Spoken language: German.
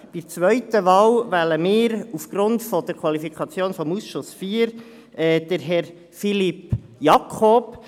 Bei der zweiten Wahl wählen wir aufgrund der Qualifikation des Ausschusses IV Herrn Philippe Jakob.